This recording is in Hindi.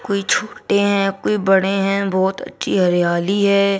कोई छोटे हैं कोई बड़े हैं बहुत अच्छी हरियाली है।